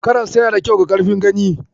Karas yana da kyau ga karfin gani.